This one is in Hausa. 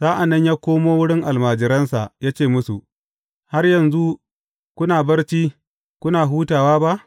Sa’an nan ya komo wurin almajiransa, ya ce musu, Har yanzu kuna barci kuna hutawa ba?